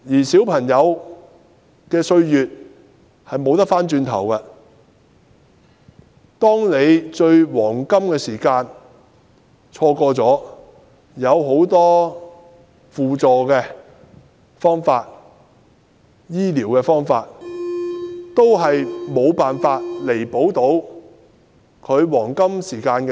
小朋友的歲月是不能追回的，錯過了治療的黃金時間，往後即使有很多輔助和治療方法都已無法彌補所失。